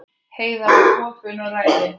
Heiða var opin og ræðin.